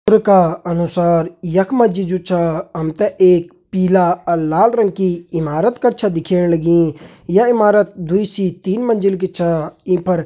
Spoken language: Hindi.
चित्र का अनुसार यख मा जी जु छा हम तें एक पीला अर लाल रंग की इमारत कर छ दिखेण लगी य इमारत दुई से तीन मंजिल की छा ईं पर --